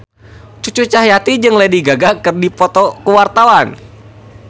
Cucu Cahyati jeung Lady Gaga keur dipoto ku wartawan